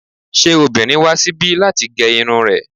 Ṣé obìnrin wá síbi láti gé irun rẹ̀?